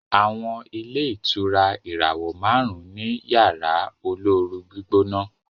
àwọn ilé ìtura ìràwọ márùn ní Yàrá olóoru-gbígbóná.